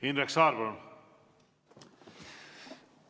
Indrek Saar, palun!